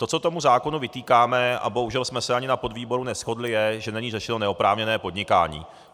To, co tomu zákonu vytýkáme, a bohužel jsme se ani na podvýboru neshodli, je, že není řešeno neoprávněné podnikání.